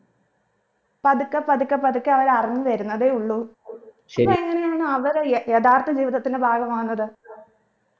പതുക്കെ പതുക്കെ പതുക്കെ അവര് അറിഞ്ഞ് വരുന്നതേ ഉള്ളൂ അപ്പോ എങ്ങനെയെന്നാണ് വരെ യ യഥാർത്ഥ ജീവിതത്തിന്റെ ഭാഗമാകുന്നത്